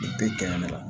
Bɛɛ kɛɲɛ de la